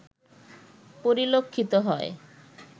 পরিলক্ষিত হয়